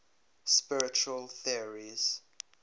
spiritual theories